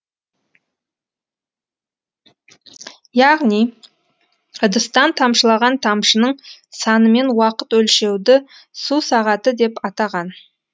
яғни ыдыстан тамшылаған тамшының санымен уақыт өлшеуді су сағаты деп атаған